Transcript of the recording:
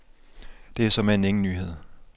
Det er såmænd ingen nyhed.